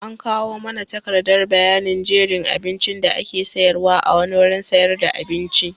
An kawo mana takardar bayanin jerin abincin da ake sayarwa a wani wurin sayar da abinci.